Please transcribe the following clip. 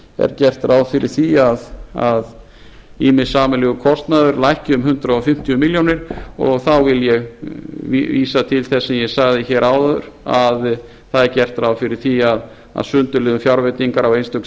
er gert ráð fyrir því hjá dómsmálaráðuneyti að ýmis sameiginlegur kostnaður lækki um hundrað fimmtíu milljónir og þá vil ég vísa til þess sem ég sagði áður að það er gert ráð fyrir því að sundurliðun fjárveitingar á einstök